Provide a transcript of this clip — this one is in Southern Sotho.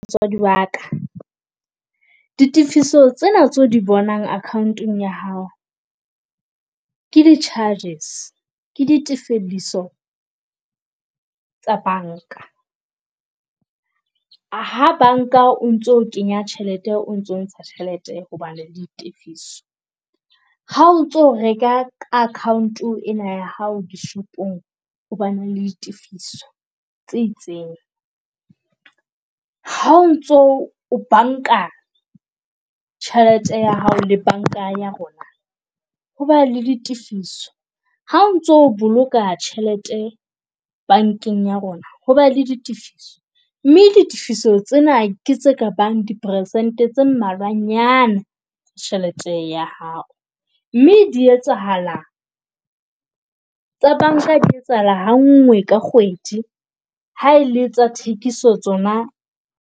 Motswadi wa ka, di tifiso tsena tse o di bonang account-ong ya hao. Ke di charges ke di tefeditso tsa banka, ha banka o ntso kenya tjhelete o ntso ntsha tjhelete ho ba le ditefiso. Ha o ntso reka ka account ena ya hao dishopong ho ba na le ditefiso tse itseng, ha o ntso o banka tjhelete ya hao le banka ya rona ho ba le ditifiso. Ha o ntso boloka tjhelete bankeng ya rona ho ba le ditifiso, mme ditifiso tsena ke tse ka bang di percent-e tse mmalwanyana tjhelete ya hao. Mme di etsahala, tsa banka di etsahala ha nngwe ka kgwedi ha ele tsa thekiso tsona.